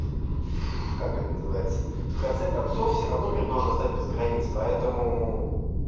как это называется в конце концов всё равно мир должен стать без границ поэтому